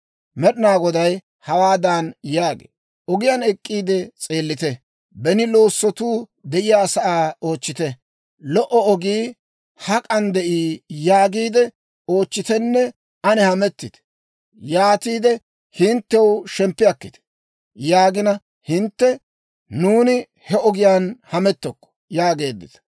Med'inaa Goday hawaadan yaagee; «Ogiyaan ek'k'iide s'eellite; beni loossotuu de'iyaasaa oochchite. ‹Lo"o ogii hak'an de'ii?› yaagiide oochchitenne an hamettite. Yaatiide hinttew shemppi akkite. Yaagina hintte, ‹Nuuni he ogiyaan hamettokko!› yaageeddita.